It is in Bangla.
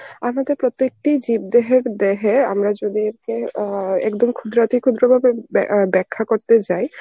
আমাদের প্রত্যেকটিই জীব দেহের দেহে আমরা যদি অ্যাঁ একদম ক্ষুদ্রাতি ক্ষুদ্র ভাবে ব্যা~ অ্যাঁ ব্যাখ্যা করতে যাই